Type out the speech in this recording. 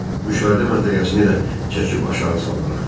Müşahidə məntəqəsini də çəkib aşağı saldılar.